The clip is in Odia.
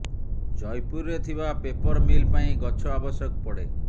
ଜୟପୁରରେ ଥିବା ପେପର୍ ମିଲ୍ ପାଇଁ ଗଛ ଆବଶ୍ୟକ ପଡ଼େ